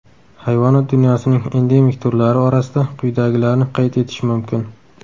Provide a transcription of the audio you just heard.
Hayvonot dunyosining endemik turlari orasida quyidagilarni qayd etish mumkin.